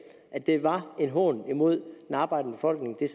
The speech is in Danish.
at det var en hån imod den arbejdende befolkning